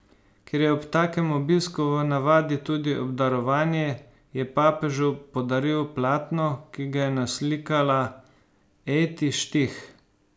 Ker je ob takem obisku v navadi tudi obdarovanje, je papežu podaril platno, ki ga je naslikala Ejti Štih.